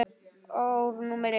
Ár númer eitt.